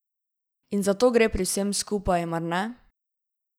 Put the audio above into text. In za to gre pri vsem skupaj, mar ne?